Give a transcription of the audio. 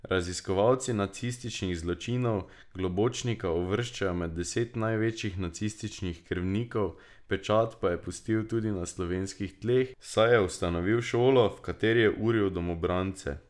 Raziskovalci nacističnih zločinov Globočnika uvrščajo med deset največjih nacističnih krvnikov, pečat pa je pustil tudi na slovenskih tleh, saj je ustanovil šolo, v kateri je uril domobrance.